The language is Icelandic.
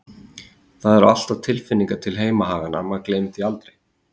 Það eru alltaf tilfinningar til heimahaganna, maður gleymir því aldrei.